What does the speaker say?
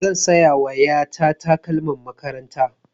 Zan saya wa ƴa ta takalman makaranta.